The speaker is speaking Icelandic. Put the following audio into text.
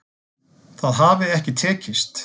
Það hafi ekki tekist